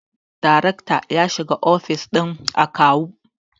daracta ya shiga ofis din akawun